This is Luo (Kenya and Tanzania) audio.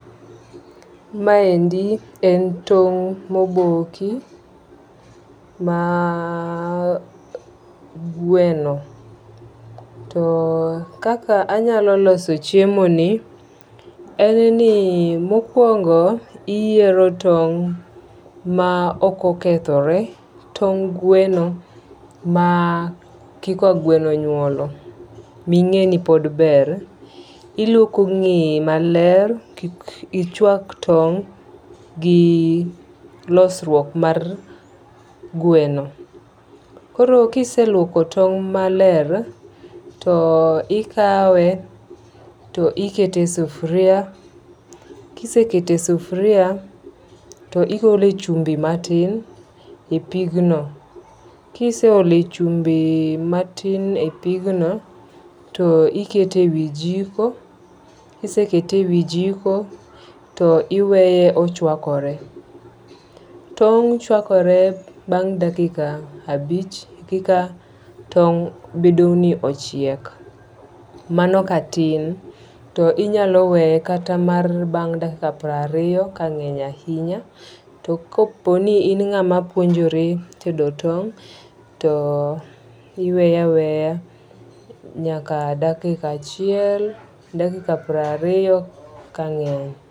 Maendi en tong' moboki mar gweno. To kaka anya loso chiemo ni en ni mokwongo iyiero tong' ma ok okethore. Tong' gweno ma kiko gweno onyuolo ming'eni pod ber. Iluoko ng'eye maler, ki ichwak tong' gi losruok mar gweno. Koro kiseluoko tong' maler to ikawe to ikete e sufria. Kisekete sufria to iole chumbi matin e pigno. Kisole chumbi matin e pigno, to ikete wi jiko. Kisekete e wi jiko to iweye ochwakore. Tong' chwakore bang' dakika abich kika tong' bedo ni ochiek. Mano ka tin to inyalo weye kata mar dakika piero ariyo ka ngeny ahinya. To kapo ni in ngama puonjore tedo tong' tiweye aweya nyaka dakika achiel. Dakika piero ariyo ka ng'eny.